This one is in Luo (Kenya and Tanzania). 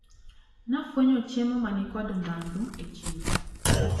Nafwenyo chiemo manikod ndhadhu e chiro.